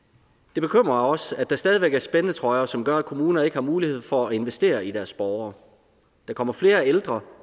det bekymrer også at der stadig væk er spændetrøjer som gør at kommuner ikke har mulighed for at investere i deres borgere der kommer flere ældre